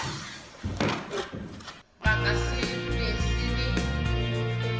ba ka se be le